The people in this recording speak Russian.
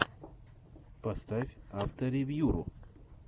поставь авторевьюру